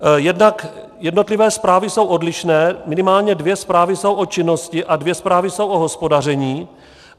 Jednotlivé zprávy jsou odlišné, minimálně dvě zprávy jsou o činnosti a dvě zprávy jsou o hospodaření.